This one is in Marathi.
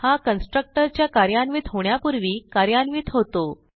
हा कन्स्ट्रक्टर च्या कार्यान्वित होण्यापूर्वी कार्यान्वित होतो